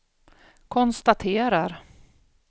konstaterar